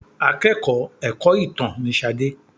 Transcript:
Akẹ́kọ̀ọ́ ẹ̀kọ́-ìtàn ni Ṣadé.